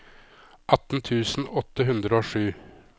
atten tusen åtte hundre og sju